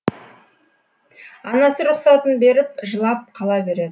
анасы рұқсатын беріп жылап қала береді